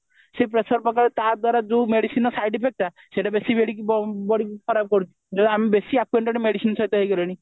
ସେ pressure ପକେଇବ ତା ଦ୍ଵାରା medicineର ଯୋଉ side effect ଟା ସେଇଟା ବେଶି body କୁ ଖରାପ କରେ ଯୋଉ ଆମେ ବେଶି acquainted medicine ସହିତ ହେଇଗଲେଣି